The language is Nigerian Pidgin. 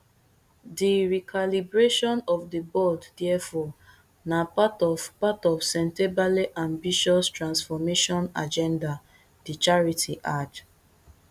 di recalibration of di board therefore na part of part of sentebale ambitious transformation agendadi charity add